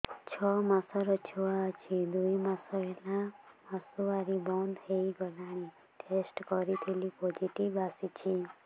ଛଅ ମାସର ଛୁଆ ଅଛି ଦୁଇ ମାସ ହେଲା ମାସୁଆରି ବନ୍ଦ ହେଇଗଲାଣି ଟେଷ୍ଟ କରିଥିଲି ପୋଜିଟିଭ ଆସିଛି